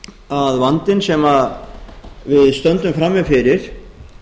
að vandinn sem við stöndum nú frammi fyrir